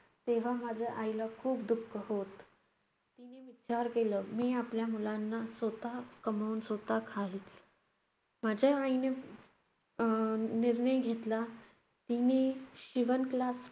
तेव्हा माझ्या आईला खूप दुःख होत. तिने विचार केलं. मी आपल्या मुलांना स्वतः कमवून स्वतः माझ्या आईने अह निर्णय घेतला की, मी शिवण class